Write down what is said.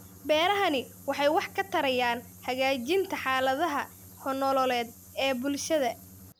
Beerahani waxay wax ka tarayaan hagaajinta xaaladaha nololeed ee bulshada.